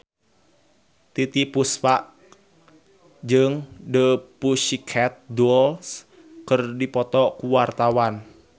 Titiek Puspa jeung The Pussycat Dolls keur dipoto ku wartawan